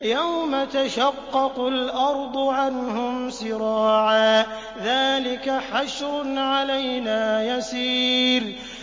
يَوْمَ تَشَقَّقُ الْأَرْضُ عَنْهُمْ سِرَاعًا ۚ ذَٰلِكَ حَشْرٌ عَلَيْنَا يَسِيرٌ